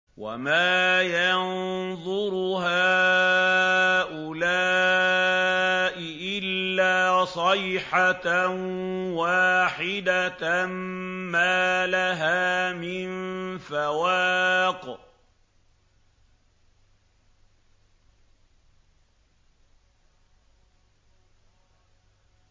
وَمَا يَنظُرُ هَٰؤُلَاءِ إِلَّا صَيْحَةً وَاحِدَةً مَّا لَهَا مِن فَوَاقٍ